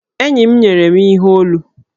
Enyi m nyere m ihe olu.